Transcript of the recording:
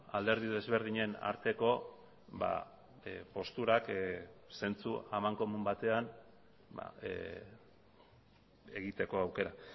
alderdi desberdinen arteko posturak zentzu amankomun batean egiteko aukera